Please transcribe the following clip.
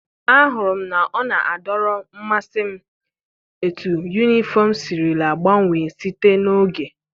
Ahụrụ m na ọ na-adọrọ mmasị m etu yunifọm sirila gbanwee site n'oge.